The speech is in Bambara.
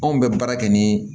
Anw bɛ baara kɛ ni